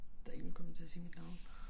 Der én kommet til at se mit navn